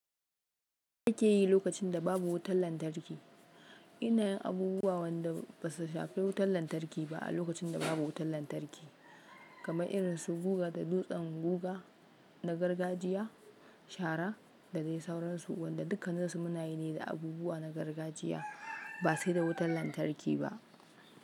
Ya kake yi lokacin da babu wutar lantarki. Ina yin abubuwa wanda ba su shafi wutar lantarki ba a lokacin da babu wutar lantarki kamar irin su guga da dutsen guga na gargajiya, shara da dai sauransu wanda dukkanin su munayi ne da abubuwa na gargajiya ba sai da wutar lantarki ba.